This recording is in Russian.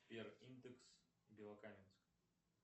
сбер индекс белокаменск